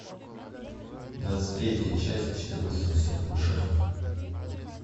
двадцать третья часть четырнадцатого сезона шерлок